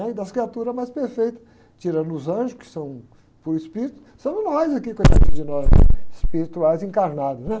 Né? E das criaturas mais perfeitas, tirando os anjos, que são puro espírito, somos nós aqui, coitadinhos de nós, espirituais encarnados, né?